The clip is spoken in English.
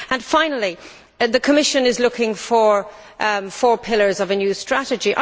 Finally, the Commission is looking for four pillars of a new strategy.